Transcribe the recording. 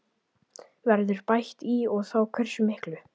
Verður bætt í og þá hversu miklu?